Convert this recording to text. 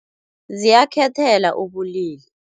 Ziyakhethela ubulili.